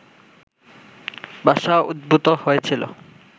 ভাষা উদ্ভূত হয়েছিল